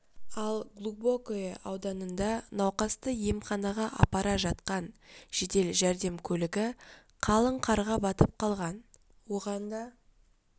ал глубокое ауданында науқасты емханаға апара жатқан жедел жәрдем көлігі қалың қарға батып қалған оған да